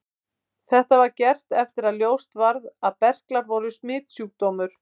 Þetta var gert eftir að ljóst varð að berklar voru smitsjúkdómur.